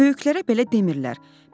Böyüklərə belə demirlər.